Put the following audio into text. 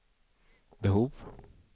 behov